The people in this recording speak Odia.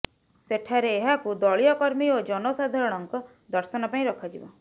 ସେଠାରେ ଏହାକୁ ଦଳୀୟ କର୍ମୀ ଓ ଜନସାଧାରଣଙ୍କ ଦର୍ଶନ ପାଇଁ ରଖାଯିବ